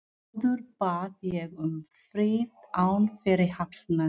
Áður bað ég um frið án fyrirhafnar.